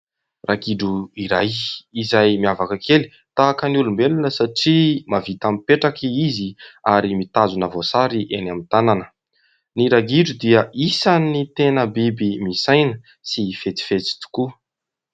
Ragidro iray izay miavaka kely. Tahaka ny olombelona satria mahavita mipetraka izy ary mitazona voasary eny amin'ny tanana. Ny ragidro dia isan'ny tena biby misaina sy fetsifetsy tokoa.